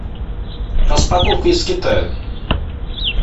распаковка из китая